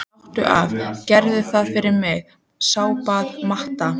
Láttu af, gerðu það fyrir mig, sárbað Marta.